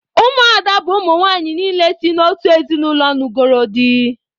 Ụmụ ada bụ ụmụnwanyị niile si n'otu ezinụlọ nugoro dị